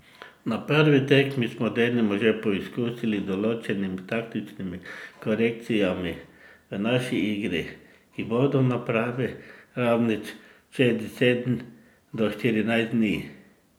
Na prvi tekmi smo denimo že poizkusili z določenimi taktičnimi korekcijami v naši igri, ki bodo na pravi ravni čez deset do štirinajst dni.